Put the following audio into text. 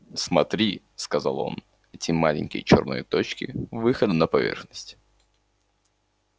смотри сказал он эти маленькие чёрные точки выходы на поверхность